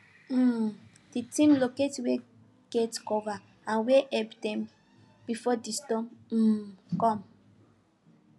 um the team locate where get cover and where help dey before the storm um come